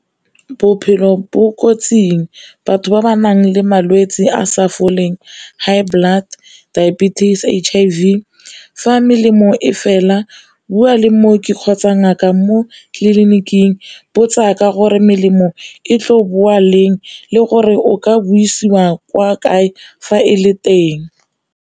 Bophelo bo kotsing batho ba ba nang le malwetse a sa foleng high blood, diabetes, H_I_V. Fa melemo e fela bua le mooki kgotsa ngaka mo tleliniking botsa ka gore melemo e tlo boa leng le gore o ka buisiwa kwa kae fa e le teng.